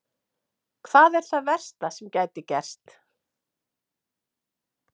Hvað er það versta sem gæti gerst?